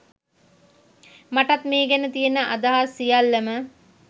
මටත් මේ ගැන තියෙන අදහස් සියල්ලම